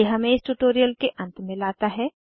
ये हमें इस ट्यूटोरियल के अंत में लाता है